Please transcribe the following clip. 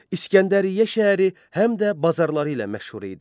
İsgəndəriyyə şəhəri həm də bazarları ilə məşhur idi.